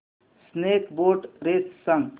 snake boat race सांग